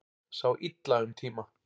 Sá illa um tíma